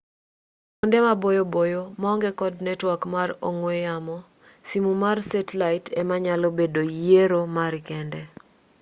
ei kwonde maboyo boyo maonge kod netwak mar ong'we yamo simu mar setlait ema nyalo bedo yiero mari kende